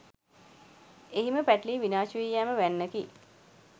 එහිම පැටලී විනාශ වී යෑම වැන්නකි.